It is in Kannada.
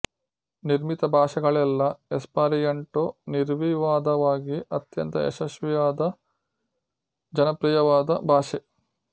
ನಿರ್ಮಿತ ಭಾಷೆಗಳಲ್ಲೆಲ್ಲ ಎಸ್ಪರ್ಯಾಂಟೊ ನಿರ್ವಿವಾದವಾಗಿ ಅತ್ಯಂತ ಯಶಸ್ವಿಯಾದ ಜನಪ್ರಿಯವಾದ ಭಾಷೆ